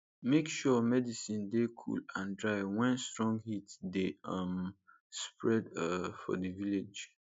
make sure medicin dey cool and dry wen strong heat dey um spread um for di village